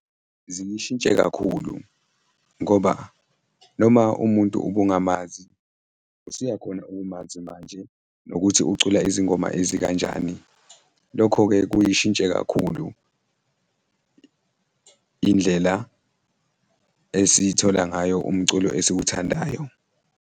Ziyishintshe kakhulu ngoba noma umuntu ubungamazi, usuyakhona ukumazi manje nokuthi ucula izingoma ezikanjani, lokho-ke kuyishintshe kakhulu indlela esithola ngayo umculo esiwuthandayo.